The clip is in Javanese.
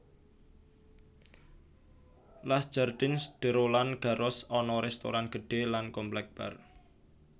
Les Jardins de Roland Garros ana restoran gedhe lan komplek bar